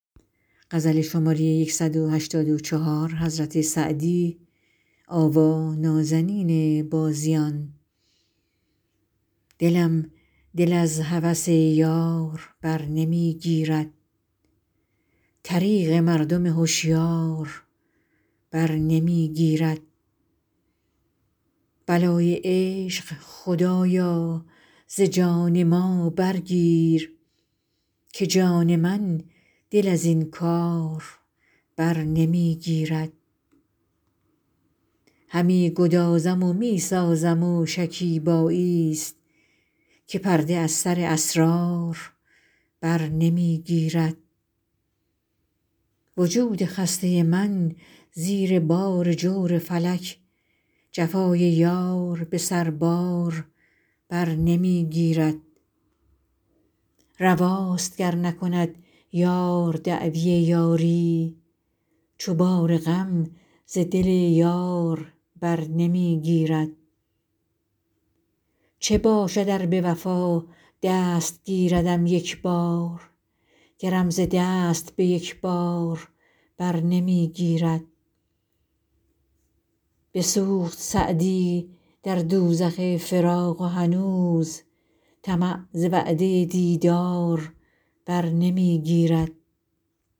دلم دل از هوس یار بر نمی گیرد طریق مردم هشیار بر نمی گیرد بلای عشق خدایا ز جان ما برگیر که جان من دل از این کار بر نمی گیرد همی گدازم و می سازم و شکیباییست که پرده از سر اسرار بر نمی گیرد وجود خسته من زیر بار جور فلک جفای یار به سربار بر نمی گیرد رواست گر نکند یار دعوی یاری چو بار غم ز دل یار بر نمی گیرد چه باشد ار به وفا دست گیردم یک بار گرم ز دست به یک بار بر نمی گیرد بسوخت سعدی در دوزخ فراق و هنوز طمع ز وعده دیدار بر نمی گیرد